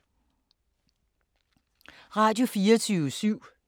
Radio24syv